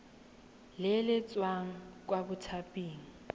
le le tswang kwa mothaping